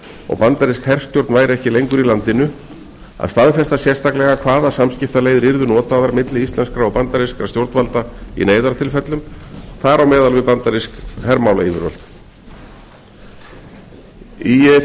og bandarísk herstjórn væri ekki lengur í landinu að staðfesta sérstaklega hvaða samskiptaleiðir yrðu notaðar milli íslenskra og bandarískra stjórnvalda í neyðartilfellum þar á meðal við bandarísk hermálayfirvöld í þriðja lagi